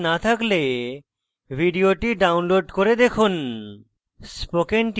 ভাল bandwidth না থাকলে ভিডিওটি download করে দেখুন